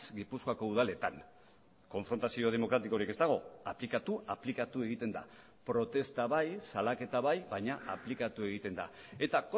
gipuzkoako udaletan konfrontazio demokratikorik ez dago aplikatu aplikatu egiten da protesta bai salaketa bai baina aplikatu egiten da eta